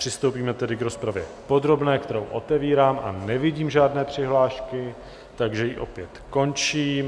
Přistoupíme tedy k rozpravě podrobné, kterou otevírám, a nevidím žádné přihlášky, takže ji opět končím.